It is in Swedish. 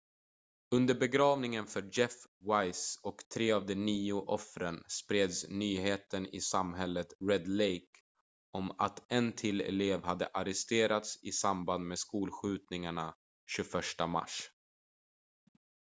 under begravningen för jeff weise och tre av de nio offren spreds nyheten i samhället red lake om att en till elev hade arresterats i samband med skolskjutningarna 21 mars